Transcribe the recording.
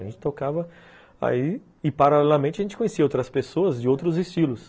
A gente tocava aí... E, paralelamente, a gente conhecia outras pessoas de outros estilos.